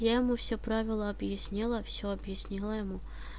я ему все правила объяснила всё объяснила ему